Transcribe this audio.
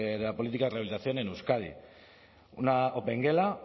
de la política de rehabilitación en euskadi una opengela